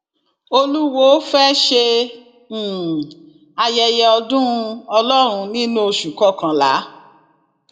olùwọọ fẹẹ ṣe um ayẹyẹ ọdún ọlọrun nínú oṣù kọkànlá